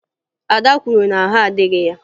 Ada kwuru na ahụ adịghị ya